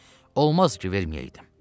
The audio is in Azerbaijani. Xeyr, olmaz ki, verməyəydim.